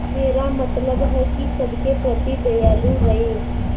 मेरा मतलब है कि सबके प्रति दयालु रहें